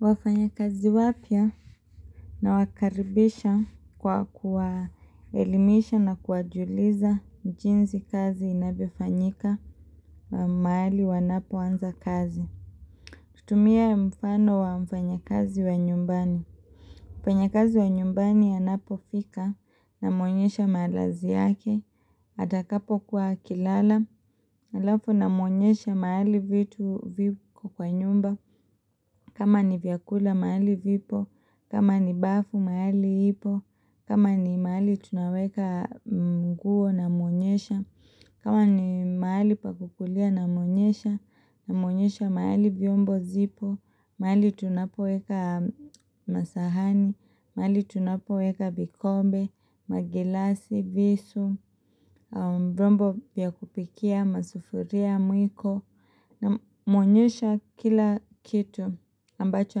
Wafanyakazi wapya na wakaribisha kwa kuwaelimisha na kuwajuliza jinsi kazi inavyofanyika mahali wanapoanza kazi. Kutumia mfano wa mfanyakazi wa nyumbani. Mfanyakazi wa nyumbani anapofika, namuonyesha malazi yake, atakapokuwa akilala, halafu namuonyesha mahali vitu kwa nyumba, kama ni vyakula magali vipo, kama ni bafu mahali ipo, kama ni mahali tunaweka mguo namuonyesha, kama ni mahali pakukulia namuonyesha, namuonyesha mahali vyombo zipo, mahali tunapoweka masahani, mahali tunapoweka vikombe, magilasi, visu, vyombo vya kupikia, masufuria, mwiko Namwonyesha kila kitu ambacho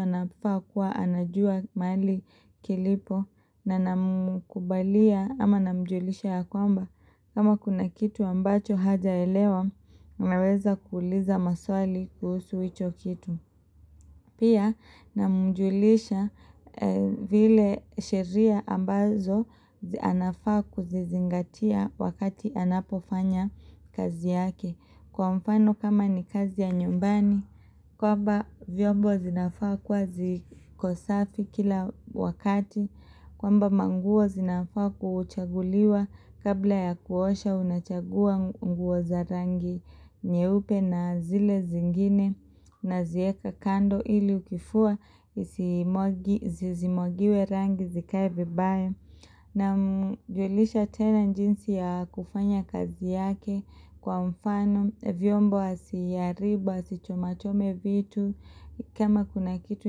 anafaa kuwa anajua mahali kilipo na na mkubalia ama namjulisha ya kwamba kama kuna kitu ambacho hajaelewa anaweza kuuliza maswali kuhusu hicho kitu Pia namujulisha zile sheria ambazo anafaa kuzizingatia wakati anapofanya kazi yake. Kwa mfano kama ni kazi ya nyumbani, kwamba vyombo zinafaa kua zikosafi kila wakati. Kwamba manguo zinafaa kuchaguliwa kabla ya kuosha unachagua nguo za rangi nyeupe na zile zingine na zieka kando ili ukifua zizimwagiwe rangi zikae vibaya. Na mjulisha tena jinsi ya kufanya kazi yake kwa mfano, vyombo asiharibu, asichomachome vitu, kama kuna kitu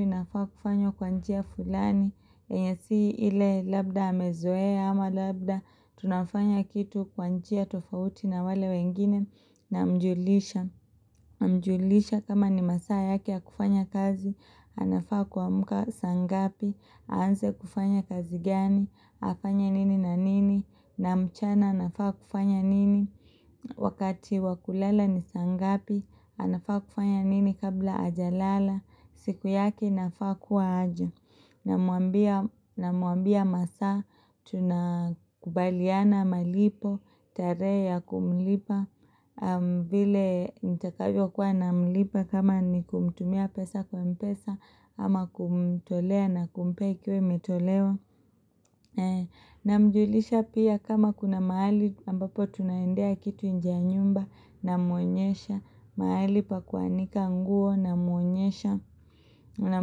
inafaa kufanywa kwa njia fulani, yenye si ile labda amezoea ama labda, tunafanya kitu kwa njia tofauti na wale wengine na mjulisha. Mjulisha kama ni masaa yake ya kufanya kazi anafaa kuamka saa ngapi Aanze kufanya kazi gani afanye nini na nini na mchana anafaa kufanya nini Wakati wakulala ni saa ngapi anafaa kufanya nini kabla hajalala siku yake inafaa kuwa aje Namuambia masaa Tunakubaliana malipo tarehe ya kumlipa vile nitakavyo kuwa namlipa kama ni kumtumia pesa kwa mpesa ama kumtolea na kumpea ikiwa imtolewa na mjulisha pia kama kuna mahali ambapo tunaendea kitu nje ya nyumba na muonyesha mahali pa kuanika nguo na muonyesha na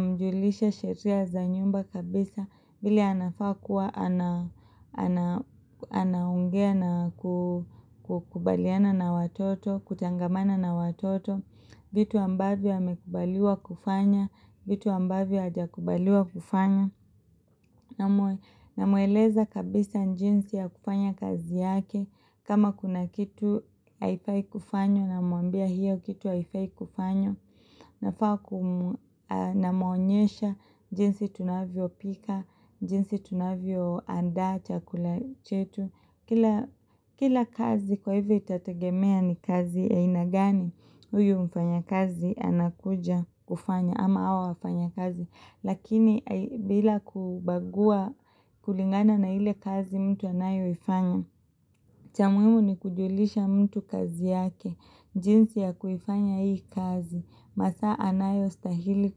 mjulisha sheria za nyumba kabisa vile anafaa kuwa ana anaongea na kukubaliana na watoto kutangamana na watoto vitu ambavyo amekubaliwa kufanya vitu ambavyo hajakubaliwa kufanya Namueleza kabisa jinsi ya kufanya kazi yake kama kuna kitu haifai kufanywa Namuambia hiyo kitu haifai kufanywa nafaa kumaonyesha jinsi tunavyo pika jinsi tunavyoandaa chakula chetu Kila kazi kwa hivyo itategemea ni kazi ya aina gani, huyu mfanyakazi anakuja kufanya ama awa wafanyakazi. Lakini bila kubagua kulingana na ile kazi mtu anayoifanya. Cha muhimu ni kujulisha mtu kazi yake. Jinsi ya kuifanya hii kazi. Masaa anayostahili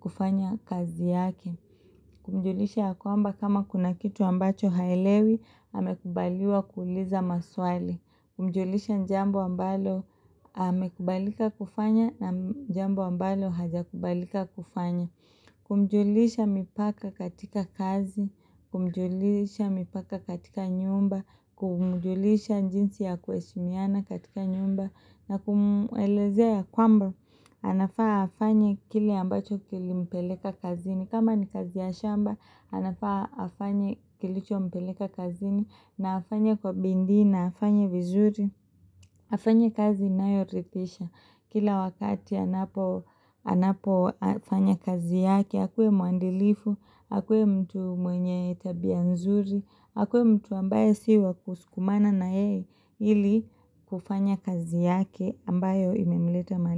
kufanya kazi yake. Kumjulisha ya kwamba kama kuna kitu ambacho haelewi amekubaliwa kuuliza maswali. Kumjulisha jambo ambalo amekubalika kufanya na jambo ambalo hajakubalika kufanya. Kumjulisha mipaka katika kazi. Kumjulisha mipaka katika nyumba. Kumjulisha jinsi ya kuheshimiana katika nyumba. Na kumuelezea kwamba anafaa afanye kile ambacho kilimpeleka kazini kama ni kazi ya shamba anafaa afanye kilichompeleka kazini na afanya kwa bindii na afanye vizuri Afanya kazi inayorithisha Kila wakati anapofanya kazi yake akuwe muandilifu, akue mtu mwenye tabia nzuri akue mtu ambaye si wa kusukumana na yeye ili kufanya kazi yake ambayo imemleta mahali.